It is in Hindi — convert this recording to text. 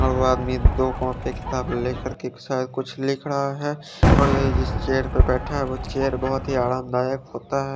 दो आदमी दो शयद कुछ लिख रहा है और ये जिस चेयर पे बैठे है वो चेयर बोहोत आराम दायक होता है।